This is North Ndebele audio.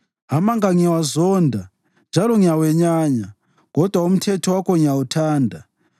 Amanga ngiyawazonda njalo ngiyawenyanya kodwa umthetho wakho ngiyawuthanda.